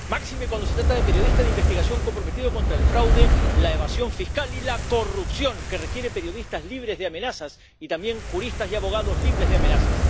Máxime cuando se trata de periodistas de investigación comprometidos contra el fraude, la evasión fiscal y la corrupción, que requiere periodistas libres de amenazas y también juristas y abogados libres de amenazas.